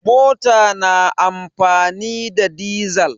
Mota na amfani da dizal.